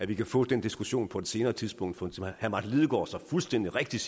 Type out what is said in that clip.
vi kan få den diskussion på et senere tidspunkt for som herre martin lidegaard så fuldstændig rigtigt